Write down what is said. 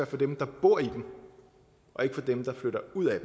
for dem der bor i den og ikke for dem der flytter ud af